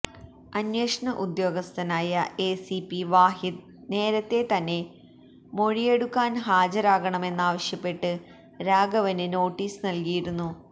അന്വേഷണ ഉദ്യോഗസ്ഥനായ എസിപി വാഹിദ് നേരത്തെ തന്നെ മൊഴിയെടുക്കാൻ ഹാജരാകണമെന്നാവശ്യപ്പെട്ട് രാഘവന് നോട്ടീസ് നൽകിയിരുന്നു